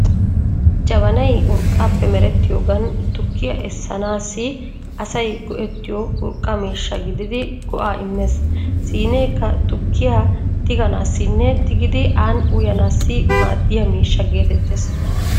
Jabanay urqqaappe merettiyoogan tukkiyaa essanaassi asay go'ettiyo urqqa miishsha gididi go'aa immees. Siineekka tukkiyaa tiganaassinne tigidi aani uyanaassi maaddiya miishsha geetettees.